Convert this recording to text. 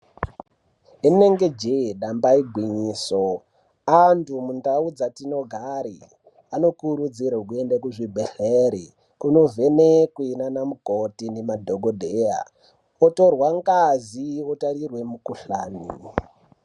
Inenge jee damba igwinyiso , antu mundau dzatinogare , anokurudzirwe kuende kuzvibhedhlere kunovhenekwe naanamukoti nemadhokodheya, otorwa ngazi ,otarirwe mikhuhlani .